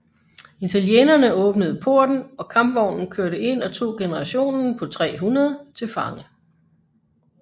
Italienerne åbnede porten og kampvognen kørte ind og tog garnisonen på 300 til fange